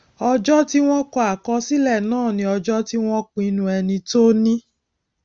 ọjọ tí wọn kọ àkọsílẹ náà ni ọjọ tí wọn pinnu ẹni tó ní